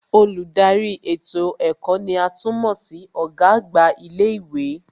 Olùdarí ètò ẹ̀kọ́ ní à tún mọ̀ sí Ọ̀gá àgbà ilé ìwé